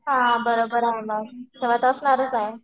हां बरोबर आहे मग तर असणारच आहे.